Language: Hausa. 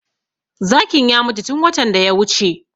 Zakin ya mutu tun watan da ya wuce